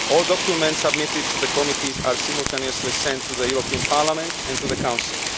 All documents submitted to the committees are simultaneously sent to the European Parliament and to the Council